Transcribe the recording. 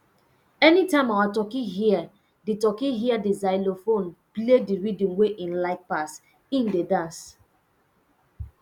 anytime our turkey hear the turkey hear the xylophone play the rhythm wey in like pass in dey dance